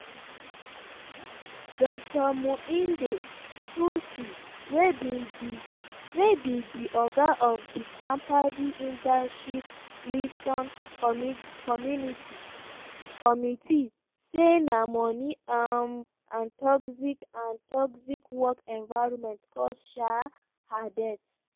dr muinde nthusi wey be di oga of di kmpdi internship liason committee say na money um and toxic and toxic work environment cause um her death.